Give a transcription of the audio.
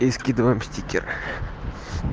и скидываем стикер